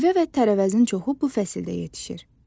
Meyvə və tərəvəzin çoxu bu fəsildə yetişir.